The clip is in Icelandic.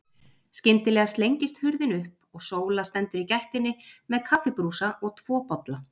Skyndilega slengist hurðin upp og Sóla stendur í gættinni með kaffibrúsa og tvo bolla.